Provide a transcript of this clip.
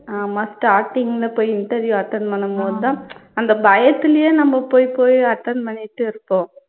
ஆமா starting ல போய் interview attend பண்ணும்போதுதான் அந்த பயத்துலையே நம்ப போய் போய் attend பண்ணிட்டே இருப்போம்